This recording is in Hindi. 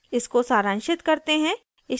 इसको सारांशित करते हैं